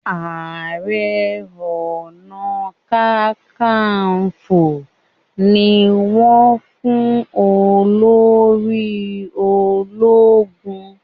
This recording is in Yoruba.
aré ọnà kankanfo ní wón fún olórí ológun.